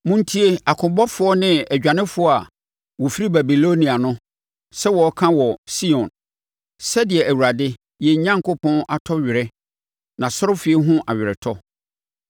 Montie akobɔfoɔ ne adwanefoɔ a wɔfiri Babilonia no sɛ wɔreka wɔ Sion sɛdeɛ Awurade, yɛn Onyankopɔn atɔ were nʼasɔrefie ho aweretɔ.